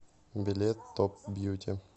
билет топ бьюти